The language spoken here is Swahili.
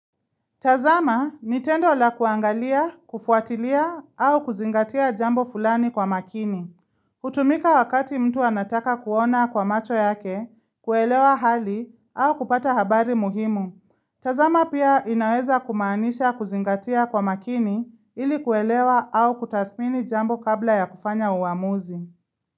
Tazama ni tendo la kuangalia, kufuatilia au kuzingatia jambo fulani kwa makini. Hutumika wakati mtu anataka kuona kwa macho yake, kuelewa hali au kupata habari muhimu. Tazama pia inaweza kumaanisha kuzingatia kwa makini ili kuelewa au kutathmini jambo kabla ya kufanya uamuzi.